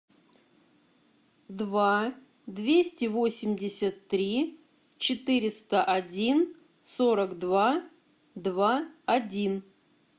два двести восемьдесят три четыреста один сорок два два один